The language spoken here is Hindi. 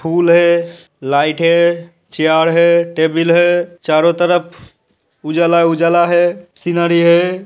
फूल है लाइट है चेयर है टेबिल है। चारों तरफ उजाला - उजाला है। सीनेरी है।